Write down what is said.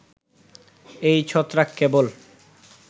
এই ছত্রাক কেবল